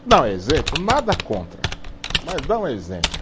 Dar um exemplo, nada contra, mas dar um exemplo.